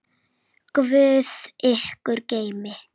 Guð ykkur geymi.